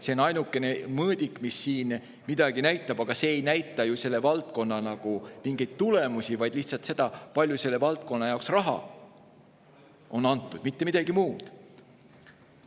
See on ainuke mõõdik, mis siin midagi näitab, aga see ei näita ju selle valdkonna tulemusi, vaid lihtsalt seda, kui palju selle valdkonna jaoks raha on antud, mitte midagi muud.